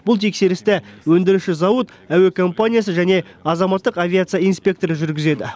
бұл тексерісті өндіруші зауыт әуе компаниясы және азаматтық авиация инспекторы жүргізеді